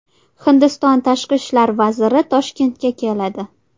Hindiston tashqi ishlar vaziri Toshkentga keladi.